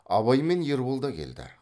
абай мен ербол да келді